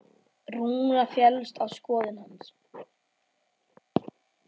Rúna féllst á skoðun hans.